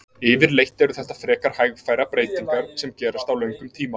yfirleitt eru þetta frekar hægfara breytingar sem gerast á löngum tíma